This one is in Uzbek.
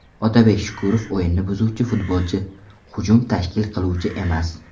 Otabek Shukurov o‘yinni buzuvchi futbolchi, hujum tashkil qiluvchi emas.